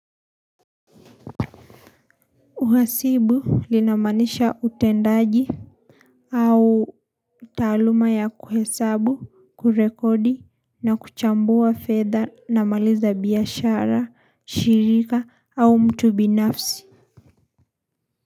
Uhasibu linamaanisha utendaji au taaluma ya kuhesabu, kurekodi na kuchambua fedha na mali za biashara, shirika au mtu binafsi.